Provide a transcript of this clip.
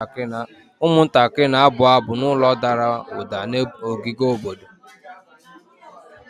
Ụmụntakịrị na-abụ abụ n'olu dara ụda na ogige obodo.